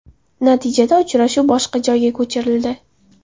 Natijada uchrashuv boshqa joyga ko‘chirildi.